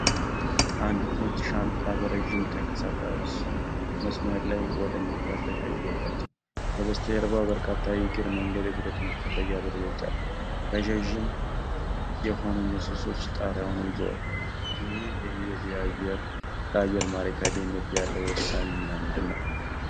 አንዲት ነጭ ሻንጣ በረጅም ተንቀሳቃሽ መስመር ላይ ወደ መፈተሻ እየገባች ነው። ከበስተጀርባ በርካታ የእግር መንገድ የብረት መፈለጊያ በሮች አሉ፤ ረጃጅም የሆኑ ምሰሶዎች ጣሪያውን ይዘዋል። ይህ ሂደት ለአየር ማረፊያ ደህንነት ያለው ወሳኝ ሚና ምንድን ነው?